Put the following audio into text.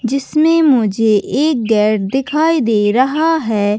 जिसमे मुझे एक गेट दिखाई दे रहा है।